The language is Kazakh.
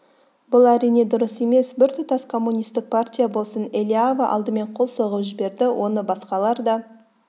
бұл әрине дұрыс емес біртұтас коммунистік партия болсын элиава алдымен қол соғып жіберді оны басқалар да